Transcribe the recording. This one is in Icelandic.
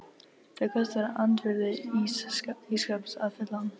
Það kostar andvirði ís skáps að fylla hann.